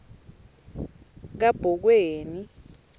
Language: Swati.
kabhokweni